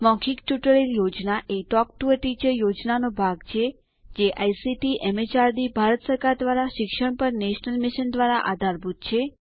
મૌખિક tutorial project એ talk to a teacher પ્રોજેક્ટનો ભાગ છે જે આઇસીટીએમએચઆરડીભારત સરકાર દ્વારા શિક્ષણ પર નેશનલ મિશન દ્વારા આધારભૂત છે